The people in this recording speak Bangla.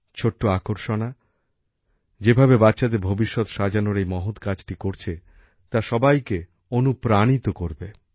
ছোট্ট আকর্ষণা যেইভাবে বাচ্চাদের ভবিষ্যৎ সাজানোর এই মহৎ কাজটি করছে তা সবাইকে অণুপ্রেরিত করবে